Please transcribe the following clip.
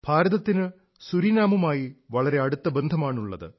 ഭാരതത്തിന് സുരീനാമുമായി വളരെ അടുത്ത ബന്ധമാണുള്ളത്